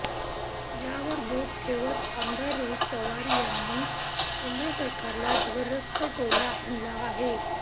यावर बोट ठेवत आमदार रोहित पवार यांनी केंद्र सरकारला जबरदस्त टोला हाणला आहे